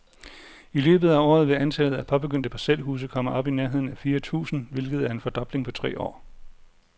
I løbet af året vil antallet af påbegyndte parcelhuse komme op i nærheden af fire tusind, hvilket er en fordobling på tre år.